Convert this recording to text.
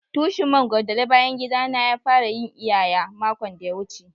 tushin mangoro da le bayan gida na ya fara yin iyaya makon daya wuce.